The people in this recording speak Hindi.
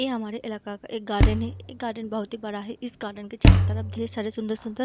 ये हमारे इलाका का एक गार्डन है ये गार्डन बहुत ही बड़ा है इस गार्डन के चारों तरफ ढेर सारे सुन्दर-सुन्दर --